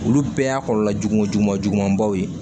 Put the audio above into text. Olu bɛɛ y'a kɔlɔlɔ jugujugumabaw ye